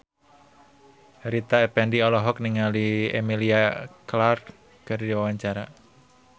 Rita Effendy olohok ningali Emilia Clarke keur diwawancara